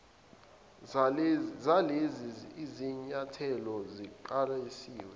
zalezi zinyathelo siqalisile